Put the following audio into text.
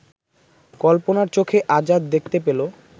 কল্পনার চোখে আজাদ দেখতে পেল